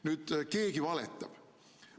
Nüüd, keegi valetab.